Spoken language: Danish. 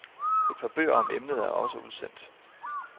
Et par bøger om emnet er også udsendt.